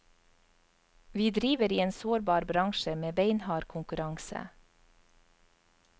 Vi driver i en sårbar bransje med beinhard konkurranse.